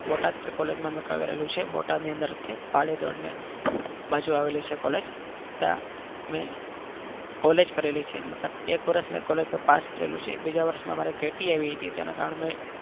બોટાદ કે કોલેજમાં મેં કરેલું છે બોટાદ ની અંદર હતી પાળીયા ધોરણની બાજુ આવેલી છે કોલેજ કે અમે કોલેજ કરેલી છે મતલબ એક વર્ષ મેં કોલેજનો પાસ કરેલું છે બીજા વર્ષે મા મારે કેટી આવી હતી. એના કારણ મેં